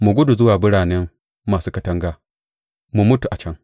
Mu gudu zuwa birane masu katanga mu mutu a can!